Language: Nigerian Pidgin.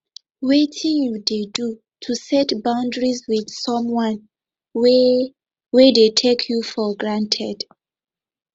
wetin you dey do to set boundaries with someone wey wey dey take you for granted